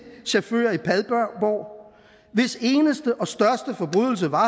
chauffører i padborg hvis eneste og største forbrydelse var